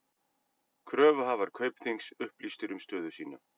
Kröfuhafar Kaupþings upplýstir um stöðu sína